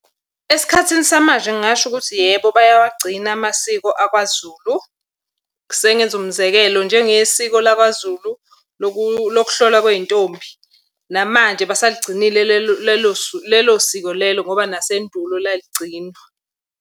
Esikhathini samanje ngingasho ukuthi yebo bayawagcina amasiko akwaZulu. Sengenza umzekelo, njengesiko lakwaZulu lokuhlolwa kwey'ntombi. Namanje basaligcinile lelo siko lelo ngoba nasendulo laligcinwa.